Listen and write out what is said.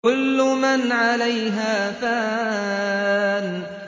كُلُّ مَنْ عَلَيْهَا فَانٍ